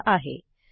यांनी दिलेला आहे